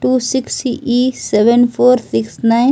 to six E seven four six nine --